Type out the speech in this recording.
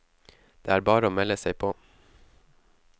Det er bare å melde seg på.